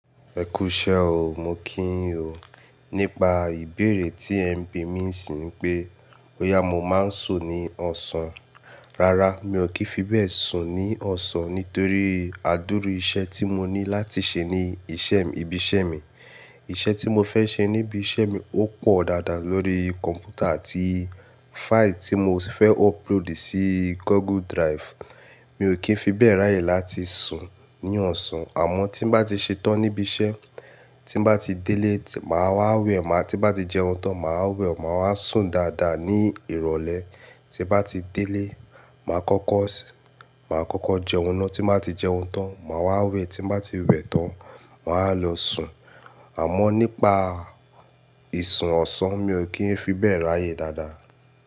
Ẹ kú iṣẹ́ o, mo kí yin o Nípa ìbéèrè tí ẹ ń bi mí ní sìn yi nipe, boyà mo máa ń sùn ní ọ̀sán. Rárá, mi ò kí ń fi bẹ́ẹ̀ sùn ní ọ̀sán nítorí àdúru iṣẹ́ tí mo ní láti ṣe ní iṣẹ́, ibi iṣẹ́ mi. Iṣẹ́ tí mo fẹ́ ṣe ní ibi iṣẹ́ mi ó pọ̀ dáadáa lórí kọ̀m̀pútà àti fáìlì tí mo fẹ́ upload sí Google Drive. Mi ò kí ń fi bẹ́ẹ̀ ráyè láti sùn ní ọ̀sán. Àmọ́ tí n bá ti ṣetán ní ibi iṣẹ́, tí n bá ti délé, màá wá wẹ̀, tí n bá ti jẹun tán, màá wẹ̀, màá wá sùn dáadáa ní ìrọ̀lẹ́. Tí n bá ti délé, màá kọ́kọ́ màá kọ́kọ́ jẹun ná, tí n bá ti jẹun tán, màá wá wẹ̀, tí n bá ti wẹ̀ tán, màá wa lọ sùn. Àmọ́ nípa ìsun ọ̀sán, mi ò kí ń fi bẹ́ẹ̀ ráyè dáadáa.